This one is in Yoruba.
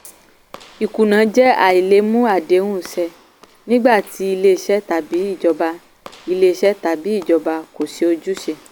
ìkùnà jẹ́ àìlè mú àdéhùn ṣẹ nígbà tí ilé-iṣẹ́ tàbí ìjọba ilé-iṣẹ́ tàbí ìjọba kò ṣe ojúṣe.